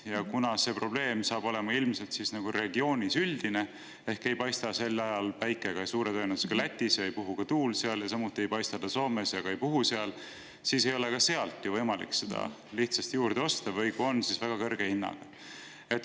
Ja kuna see probleem saab ilmselt olema regioonis üldine, ehk suure tõenäosusega ei paista sel ajal päike ka Lätis, seal ei puhu tuul, samuti ei paista päike Soomes ja ka tuul ei puhu seal, siis ei ole mujalt võimalik seda lihtsalt juurde osta või kui on, siis väga kõrge hinnaga.